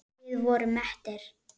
Við vorum mettir.